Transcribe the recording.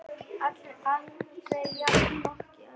Aldrei jafnoki Öldu.